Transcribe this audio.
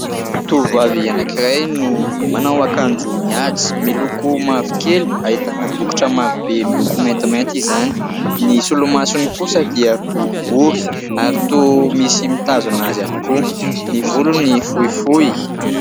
Tovovavy anankiray no manao akanjo mihaja miloko mavokely, ahitana bokotra marobe miloko maintimainty izany. Ny solomasony kosa dia boribory ary toa misy mitazona azy ihany koa. Ny volony fohifohy.